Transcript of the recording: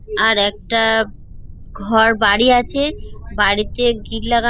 আর একটা ঘর বাড়ি আছে বাড়িতে গ্রিল লাগা--